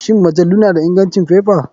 Shin majalu na da ingancin faifa?